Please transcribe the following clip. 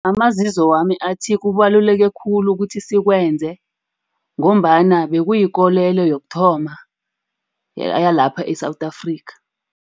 Amazizo wami athi kubaluleke khulu ukuthi sikwenze, ngombana bekuyikolelo yokuthoma yalapha e-South Africa.